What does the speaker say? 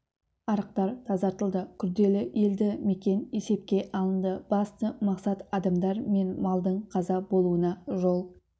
арықтар тазартылды күрделі елді мекен есепке алынды басты мақсат адамдар мен малдың қаза болуына жол